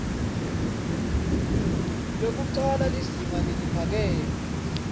lwekucala lizinga leliphakeme